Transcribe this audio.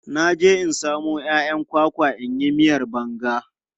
Na je in samo 'ya'yan kwakwa in yi miyan banga.